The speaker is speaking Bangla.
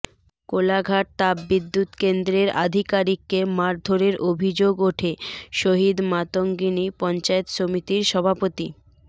কোলাঘাট তাপবিদ্যুৎ কেন্দ্রের আধিকারিককে মারধরের অভিযোগ ওঠে শহিদ মাতঙ্গিনী পঞ্চায়েত সমিতির সভাপতি